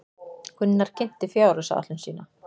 Gunnar kynnti fjárhagsáætlun sín